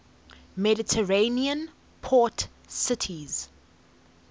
mediterranean port cities